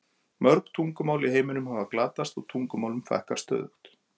Mörg tungumál í heiminum hafa glatast og tungumálum fækkar stöðugt.